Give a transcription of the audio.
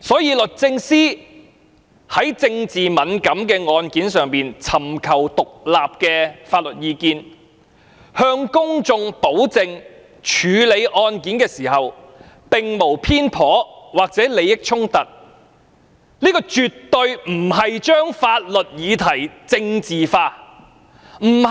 因此，律政司會就政治敏感案件尋求獨立的法律意見，以示其在處理案件時並無偏頗或利益衝突，而絕非是把法律議題政治化。